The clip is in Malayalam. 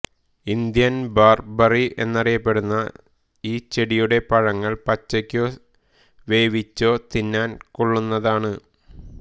ഇന്ത്യൻ ബർബറി എന്നറിയപ്പെടുന്ന ഈ ചെടിയുടെ പഴങ്ങൾ പച്ചയ്കോ വേവിച്ചോ തിന്നാൻ കൊള്ളുന്നതാണ്